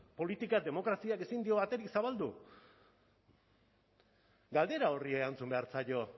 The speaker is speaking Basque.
politika demokraziak ezin dio aterik zabaldu galdera horri erantzun behar zaio